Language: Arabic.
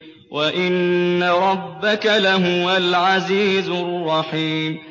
وَإِنَّ رَبَّكَ لَهُوَ الْعَزِيزُ الرَّحِيمُ